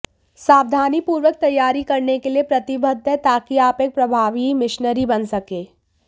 सावधानीपूर्वक तैयारी करने के लिए प्रतिबद्ध है ताकि आप एक प्रभावी मिशनरी बन सकें